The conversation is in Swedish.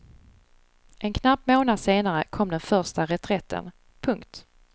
En knapp månad senare kom den första reträtten. punkt